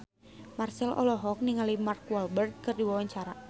Marchell olohok ningali Mark Walberg keur diwawancara